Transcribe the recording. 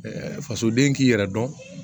fasoden k'i yɛrɛ dɔn